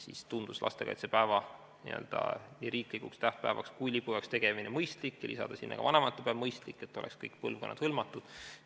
Siis tundus lastekaitsepäeva nii riiklikuks tähtpäevaks kui ka lipupäevaks tegemine mõistlik ja ka see, et lisada sinna ka vanavanemate päev, et kõik põlvkonnad oleksid hõlmatud.